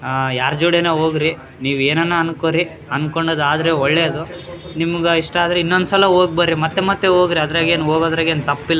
ಆ ಯಾರ್ ಜೋಡಾನು ಹೋಗ್ರಿ ನೀವ್ ಏನನ್ನ ಅಂದ್ಕೊರಿ ಅಂದ್ಕೊಂಡ ಆದ್ರೆ ಒಳ್ಳೇದು ನಿಮ್ಗಿಷ್ಟ ಆದ್ರೆ ಇನ್ನೊಂದ್ಸಲ ಹೋಗ್ ಬರ್ರಿ ಮತ್ತೆ ಮತ್ತೆ ಹೋಗ್ರ ಅದ್ರಾಗ್ ಏನ್ ಹೋಗೋದ್ರಾಗ್ ಏನ್ ತಪ್ಪಿಲ್ಲ.